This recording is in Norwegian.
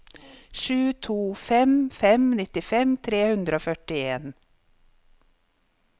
sju to fem fem nittifem tre hundre og førtien